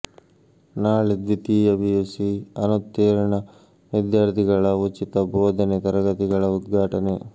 ನಾಳೆ ದ್ವಿತೀಯ ಪಿಯುಸಿ ಅನುತೀರ್ಣ ವಿದ್ಯಾರ್ಥಿಗಳ ಉಚಿತ ಬೋಧನೆ ತರಗತಿಗಳ ಉದ್ಘಾಟನೆ